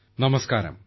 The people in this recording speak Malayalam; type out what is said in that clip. ഓഡിയോ